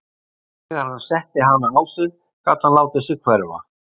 Þegar hann setti hana á sig gat hann látið sig hverfa.